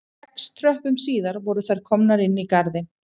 Sex tröppum síðar voru þær komnar inn í garðinn